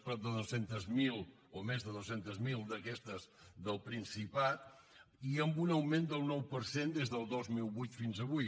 prop de dos cents miler o més de dos cents miler d’aquestes del principat i amb un augment del nou per cent des del dos mil vuit fins avui